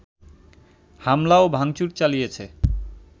হামলা ও ভাংচুর চালিয়েছে